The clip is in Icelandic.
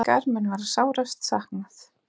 Ykkar mun verða sárast saknað.